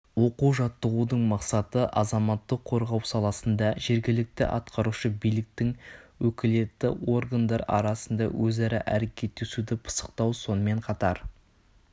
оқу-жаттығудың мақсаты азаматтық қорғау саласында жергілікті атқарушы биліктін өкілетті органдар арасында өзара әрекеттесуді пысықтау сонымен қатар